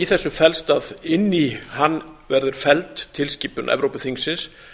í þessu felst að inn í hann verður felld tilskipun evrópuþingsins